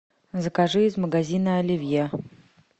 закажи из магазина оливье